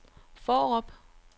Fårup